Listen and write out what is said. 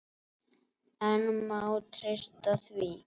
En má treysta því?